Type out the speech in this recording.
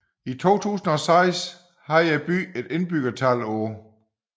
I 2006 havde byen et indbyggertal på